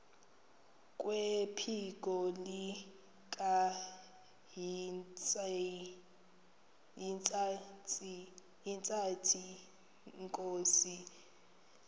kwephiko likahintsathi inkosi